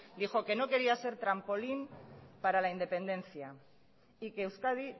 dijo que no quería ser trampolín para la independencia y que euskadi